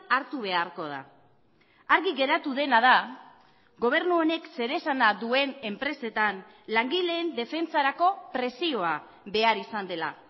hartu beharko da argi geratu dena da gobernu honek zeresana duen enpresetan langileen defentsarako presioa behar izan dela